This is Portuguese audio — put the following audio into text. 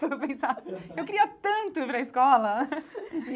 Eu queria tanto ir para a escola.